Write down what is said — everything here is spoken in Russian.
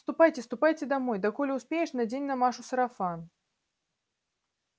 ступайте ступайте домой да коли успеешь надень на машу сарафан